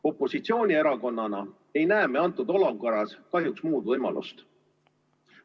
Opositsioonierakonnana ei näe me antud olukorras kahjuks muud võimalust.